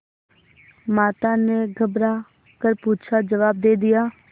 माता ने घबरा कर पूछाजवाब दे दिया